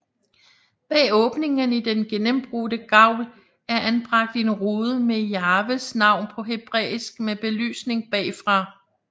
Bag åbningen i den gennembrudte gavl er anbragt en rude med Jahves navn på hebræisk med belysning bagfra